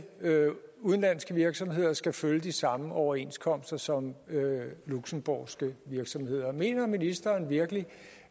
udenlandske virksomheder skal følge de samme overenskomster som luxembourgske virksomheder mener ministeren virkelig